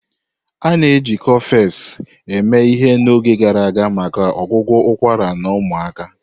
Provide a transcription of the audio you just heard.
A na-eji Cofex eme ihe n'oge gara aga maka ọgwụgwọ ụkwara na ụmụaka.